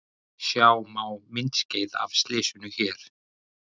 Sjá má myndskeið af slysinu hér